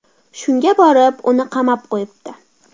Shunga borib, uni qamab qo‘yibdi.